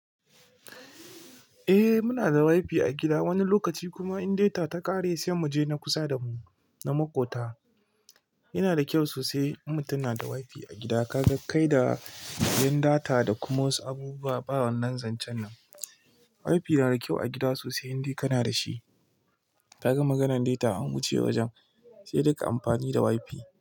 Eh muna da wifi a gida wani lokaci kuma in data ta ƙare sai mu je na kusa da mu na makota. Yana da kyau sosai in mutum na da wifi a gida kaga kai da yin data da kuma wasu abubuwa. Ɓawan nan zancen nan. Wifi na da kyau a gida sosai. Indai kana da shi. Kaga maganan data an wuce wajen sai duka amfani da wifi.